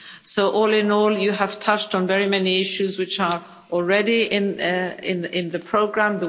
So all in all, you have touched on very many issues which are already in the programme.